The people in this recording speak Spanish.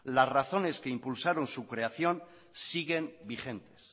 las razones que impulsaron su creación siguen vigentes